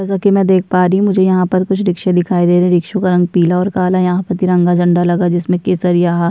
जैसा की मै यहाँ देख प् रही हुं मुझे यहाँ पर कुछ रिक्शे दिखाई दे रहे हैं रिक्शो का रंग पीला और काला यहाँ पर तिरंगा झंडा लगा जिसमें केसरिया हा।